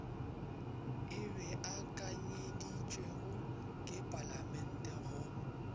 e beakanyeditšwego ke palamente go